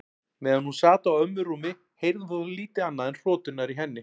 Meðan hún sat á ömmu rúmi heyrði hún þó lítið annað en hroturnar í henni.